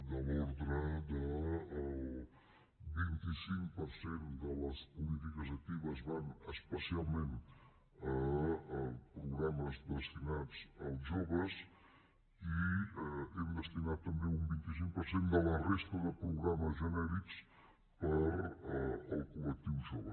de l’ordre del vint cinc per cent de les polítiques actives van especialment a programes destinats als joves i hem destinat també un vint cinc per cent de la resta de programes genèrics per al col·lectiu jove